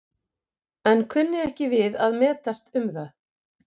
en kunni ekki við að metast um það.